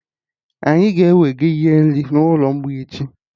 Anyị ga-ewega ihe nri n'ụlọ mgbei echi